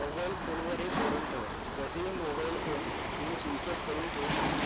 mobile फोनवर हेच धोरण ठेवा, तसेही mobile फोन तुम्ही switch off करून ठेऊ शकता.